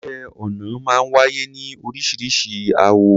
Iṣẹ́ ọnà máa ń wáyé ní orísiríṣi àwọ̀.